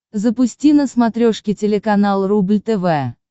запусти на смотрешке телеканал рубль тв